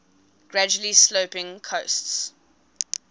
gradually sloping coasts